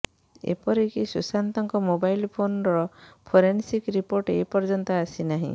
ଏପରିକି ସୁଶାନ୍ତଙ୍କ ମୋବାଇଲ୍ ଫୋନର ଫୋରେନସିକ୍ ରିପୋର୍ଟ ଏପର୍ଯ୍ୟନ୍ତ ଆସିନାହିଁ